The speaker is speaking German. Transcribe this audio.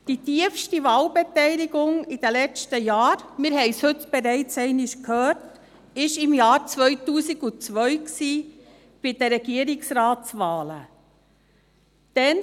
Die tiefste Wahlbeteiligung während den letzten Jahren – wir haben es heute bereits einmal gehört – war im Jahr 2002 bei den Regierungsratswahlen zu verzeichnen.